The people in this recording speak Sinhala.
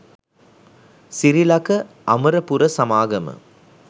සිරිලක අමරපුර සමාගම